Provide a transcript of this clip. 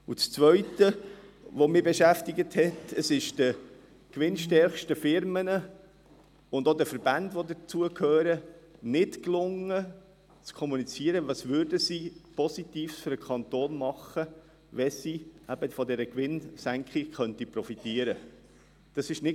Das Zweite, das mich beschäftigt ist, dass es den gewinnstärksten Firmen und auch den zugehörigen Verbänden nicht gelungen ist, zu kommunizieren, was sie Positives für den Kanton täten, wenn sie von dieser Gewinnsenkung profitieren könnten.